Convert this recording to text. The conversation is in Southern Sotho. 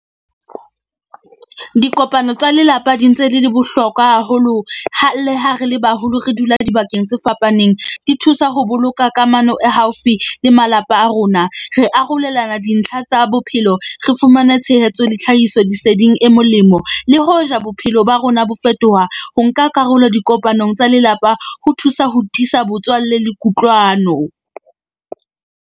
Dikopano tsa lelapa di ntse le le bohlokwa haholo ha le ha re le baholo re dula dibakeng tse fapaneng. Di thusa ho boloka kamano e haufi le malapa a rona. Re arolelana dintlha tsa bophelo. Re fumane tshehetso le tlhahisoleseding e molemo. Le hoja bophelo ba rona bo fetoha, ho nka karolo dikopanong tsa lelapa ho thusa ho tiisa botswalle le kutlwano.